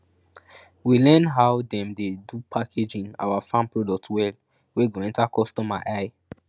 we learn how dem dey do packaging awa farm product well wey go enter customer eye